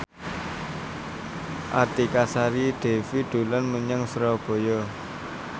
Artika Sari Devi dolan menyang Surabaya